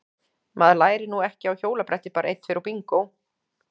Maður lærir nú ekki á hjólabretti bara einn tveir og bingó!